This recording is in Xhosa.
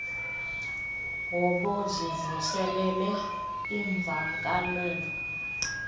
hobo zivuselele iimvakalelo